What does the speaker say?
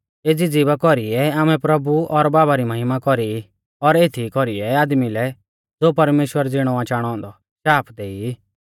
एज़ी ज़िभा कौरीऐ आमै प्रभु और बाबा री महिमा कौरी और एथीई कौरीऐ आदमी लै ज़ो परमेश्‍वर ज़िणौ आ चाणौ औन्दौ शाप देई